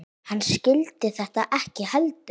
Hann skildi þetta ekki heldur.